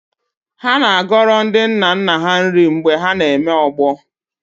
Ha na-agọrọ ndi nna nna ha nri mgbe na-eme ọgbọ